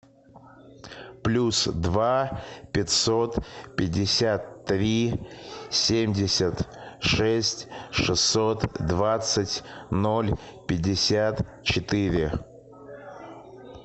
плюс два пятьсот пятьдесят три семьдесят шесть шестьсот двадцать ноль пятьдесят четыре